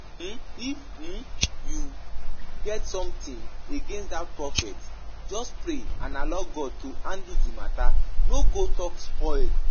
um If um you get something against dat Prophet, just pray and allow God to handle the matter, no go talk spoil